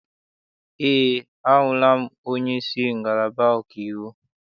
Eé, ahụla m onyeisi ngalaba ọkaiwu.